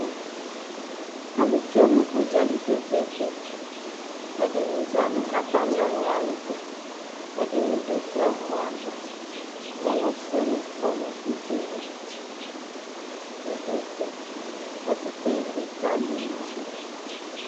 Alʋ tsoe nʋ udzali kpekpekpe, ɛdini zã nʋ atami ɔŋʋ wani tʋ, ɛdini dʋ ɛmɔ ava, owu fueni kɔnʋ udza yɛ li kpekpekpe, ɛkʋtɛ elikali ma dʋ